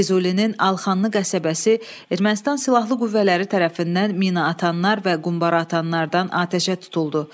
Füzulinin Alxanlı qəsəbəsi Ermənistan silahlı qüvvələri tərəfindən minaatanlar və qumbaraatanlardan atəşə tutuldu.